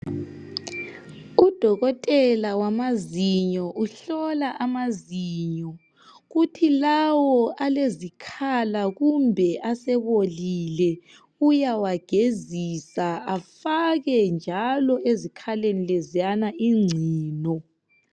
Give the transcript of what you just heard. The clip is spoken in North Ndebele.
Udokotela wamazinyo uhlola amazinyo. Kuthi lawo alezikhala kumbe asebolile uyawagezisa afake njalo ezikhaleni leziyana ingcino.